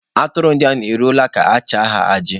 Aturu ndia eruola ka-acha ha aji.